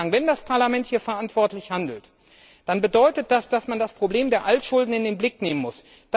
Wenn das Parlament hier verantwortlich handelt, dann bedeutet das, dass man das Problem der Altschulden in den Blick nehmen muss.